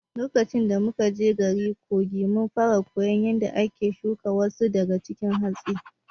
Lokaci da muna garin Kogi, mun fara koyar yadda ake shuga wasu daga cikin hatsi.